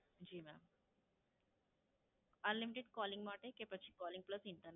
જી ma'am, Unlimited Calling માટે કે પછી Calling plus internet?